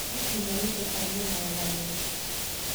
No nginya wĩtĩkanie na ũgarũrũku